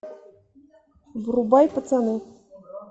врубай пацаны